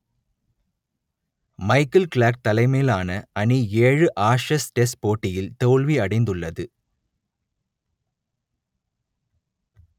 Michael Clarke தலைமையிலான அணி ஏழு ஆஷஸ் டெஸ்ட் போட்டியில் தோல்வியடைந்துள்ளது